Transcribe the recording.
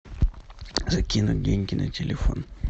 закинуть деньги на телефон